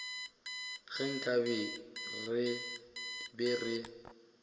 ge nkabe re be re